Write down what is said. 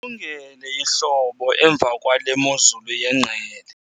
ndililungele ihlobo emva kwale mozulu yengqele